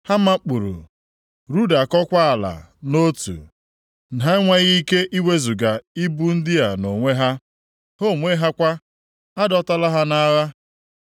Ha makpuuru, rudakọkwa ala nʼotu; ha enweghị ike iwezuga ibu ndị a nʼonwe ha, ha onwe ha kwa, a dọtala ha nʼagha.